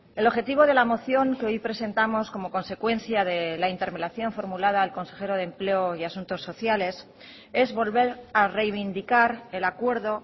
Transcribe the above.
el objetivo de la moción que hoy presentamos como consecuencia de la interpelación formulada al consejero de empleo y asuntos sociales es volver a reivindicar el acuerdo